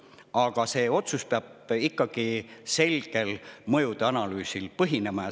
Aga see otsus peab põhinema ikkagi selgel mõjuanalüüsil.